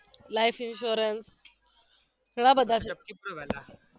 life insurance ઘણા બધા છે